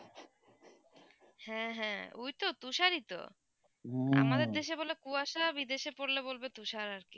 হ্যাঁ হ্যাঁ ওই তো তুষার ই তো আমাদের দেশে বলে কুয়াসা বিদেশে পড়লে বলবে তুষার আর কি